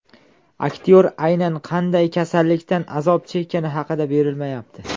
Aktyor aynan qanday kasallikdan azob chekkani xabar berilmayapti.